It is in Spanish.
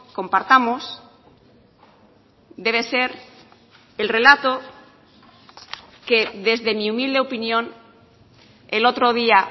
compartamos debe ser el relato que desde mi humilde opinión el otro día